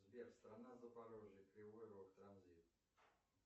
сбер страна запорожье кривой рог транзит